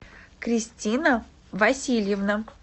кристина васильевна